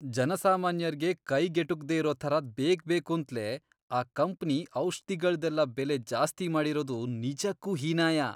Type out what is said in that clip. ಜನಸಾಮಾನ್ಯರ್ಗೆ ಕೈಗ್ ಎಟುಕ್ದೇ ಇರೋ ಥರ ಬೇಕ್ಬೇಕೂಂತ್ಲೇ ಆ ಕಂಪ್ನಿ ಔಷ್ಧಿಗಳ್ದೆಲ್ಲ ಬೆಲೆ ಜಾಸ್ತಿ ಮಾಡಿರೋದು ನಿಜಕ್ಕೂ ಹೀನಾಯ.